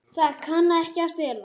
Það kann ekki að stela.